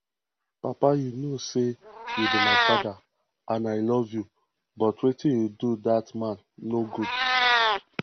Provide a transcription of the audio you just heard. papa you know say you be my father and i love you but wetin you do dat man no good